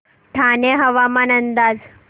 ठाणे हवामान अंदाज